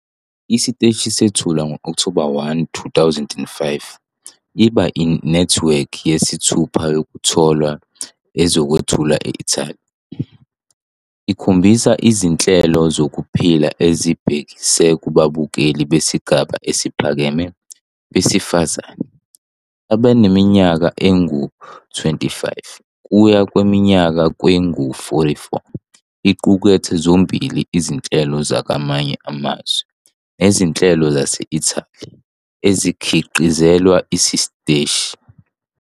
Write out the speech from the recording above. Isiteshi sethulwa ngo-Okthoba 1, 2005, iba inethiwekhi yesithupha Yokutholwa ezokwethulwa e-Italy. Ikhombise izinhlelo zokuphila ezibhekise kubabukeli besigaba esiphakeme besifazane abaneminyaka engama-25 kuya kwengama-44. Iqukethe zombili izinhlelo zakwamanye amazwe nezinhlelo zase-Italy ezikhiqizelwa isiteshi.